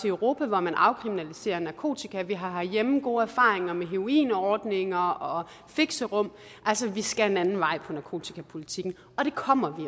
europa hvor man afkriminaliserer narkotika og vi har herhjemme gode erfaringer med heroinordninger og fixerum altså vi skal en anden vej på narkotikapolitikken og det kommer vi